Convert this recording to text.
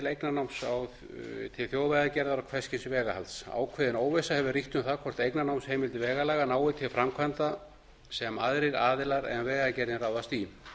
eignarnáms til þjóðvegagerðar og hvers kyns vegahalds ákveðin óvissa hefur ríkt um það hvort eignarnámsheimild vegalaga nái til framkvæmda sem aðrir aðilar en vegagerðin ráðast í